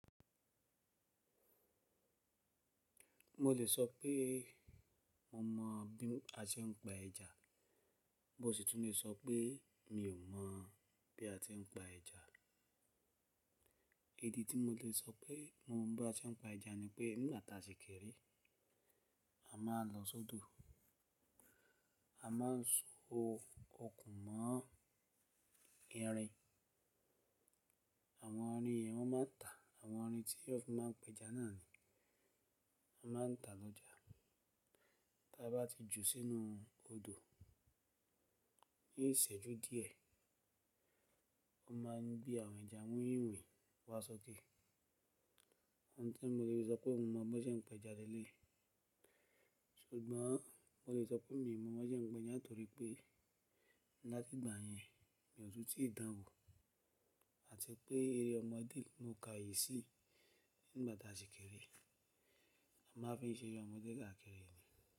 Mo lè sọ pé mo mọ bí a ṣe ń pa ẹja, mó si ti tún lè sọ pé mi ò mọ̀ bí a ti ń pa ẹja. Idi tí mo lè sọ pé mo mọ̀ bí a ṣe ń pa ẹja ni pé nígbati a sìkèrè, a máa lọ sódò, a máa so okùn mọ́ irin, àwọn irin yẹn wọ́n máa ń ta àwọn irin tí wọ́n fi máa ń pe ẹja náà ni wọ́n máa ń ta lọ́jà. Tí a bá ti jù sínú odò ní ìṣẹ́jú díẹ̀, wọ́n máa ń gbé àwọn ẹja winwin wá sókè. Ohun tí mo lè sọ pé mo mọ̀ bí wọ́n ṣe ń pa ẹja ni léyìí. Ṣùgbọ́n mo lè sọ pé mi ò mọ̀ bí wọ́n ṣe ń pa eja nitòrí pé latí ìgbà yẹn, mi o tun tíì dán wò àti pé eré ọmọdé ni mo ka yìí sí nígba ta sìkèrè, a máa fi ń ṣe ẹre ọmọdé káàkiri ni.